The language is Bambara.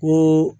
Ko